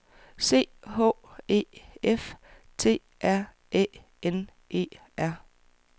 C H E F T R Æ N E R